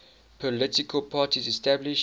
political parties established